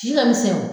Ci ka misɛn o